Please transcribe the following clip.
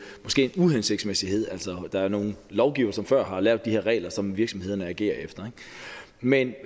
uhensigtsmæssighed altså der er nogle lovgivere som før har lavet de her regler som virksomhederne agerer efter men